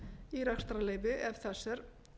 í rekstrarleyfi ef þess er